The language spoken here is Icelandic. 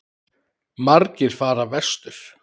Margir fara vestur